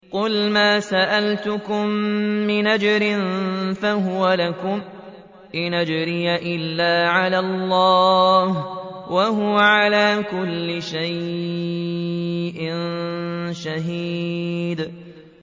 قُلْ مَا سَأَلْتُكُم مِّنْ أَجْرٍ فَهُوَ لَكُمْ ۖ إِنْ أَجْرِيَ إِلَّا عَلَى اللَّهِ ۖ وَهُوَ عَلَىٰ كُلِّ شَيْءٍ شَهِيدٌ